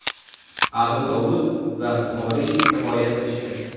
Abu Dovud va Buxoriy rivoyat qilishgan.